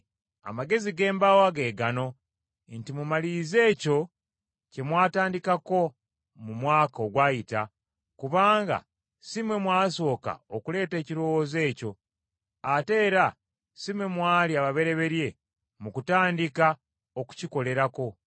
Amagezi ge mbawa ge gano nti mumalirize ekyo kye mwatandikako mu mwaka ogwayita, kubanga si mmwe mwasooka okuleeta ekirowoozo ekyo ate era si mmwe mwali ababereberye mu kutandika okukikolerako.